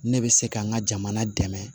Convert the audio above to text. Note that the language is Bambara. Ne bɛ se ka n ka jamana dɛmɛ